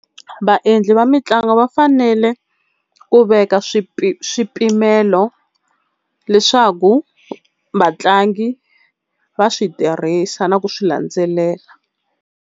Vaendli va mitlangu va fanele ku veka swipimelo leswaku vatlangi va swi tirhisa na ku swi landzelela.